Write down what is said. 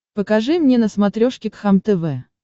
покажи мне на смотрешке кхлм тв